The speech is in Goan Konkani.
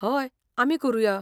हय, आमी करुया.